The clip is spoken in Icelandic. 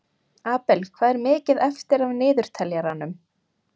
Abel, hvað er mikið eftir af niðurteljaranum?